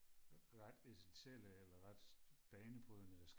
ret essentielle eller ret banebrydende